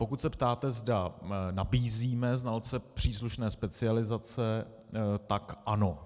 Pokud se ptáte, zda nabízíme znalce příslušné specializace, pak ano.